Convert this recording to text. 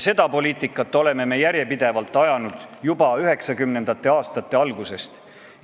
Sellist poliitikat oleme me järjepidevalt ajanud juba 1990. aastate algusest.